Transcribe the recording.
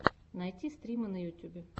найти стримы на ютьюбе